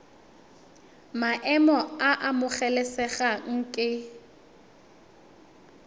maemo a a amogelesegang ke